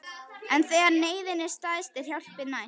En þegar neyðin er stærst er hjálpin næst.